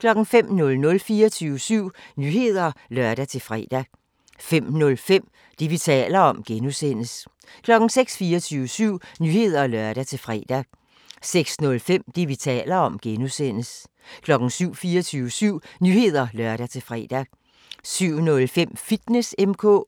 05:00: 24syv Nyheder (lør-fre) 05:05: Det, vi taler om (G) 06:00: 24syv Nyheder (lør-fre) 06:05: Det, vi taler om (G) 07:00: 24syv Nyheder (lør-fre) 07:05: Fitness M/K 08:00: